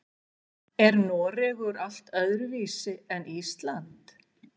Er Noregur allt öðruvísi en Ísland?